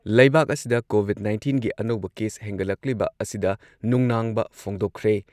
ꯂꯩꯕꯥꯛ ꯑꯁꯤꯗ ꯀꯣꯚꯤꯗ ꯅꯥꯏꯟꯇꯤꯟꯒꯤ ꯑꯅꯧꯕ ꯀꯦꯁ ꯍꯦꯟꯒꯠꯂꯛꯂꯤꯕ ꯑꯁꯤꯗ ꯅꯨꯡꯅꯥꯡꯕ ꯐꯣꯡꯗꯣꯛꯈ꯭ꯔꯦ